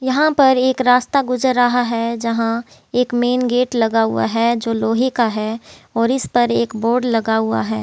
यहाँ पर एक रास्ता गुजर रहा है जहाँ एक मेन गेट लगा हुआ है जो लोहे का है और इस पर एक बोर्ड लगा हुआ है।